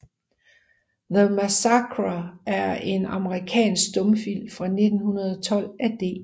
The Massacre er en amerikansk stumfilm fra 1912 af D